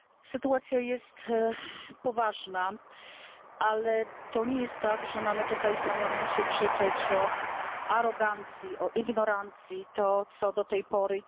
Sytuacja jest poważna, ale to nie jest tak, że mamy tutaj w Parlamencie krzyczeć o arogancji, o ignorancji, tak jak do tej pory.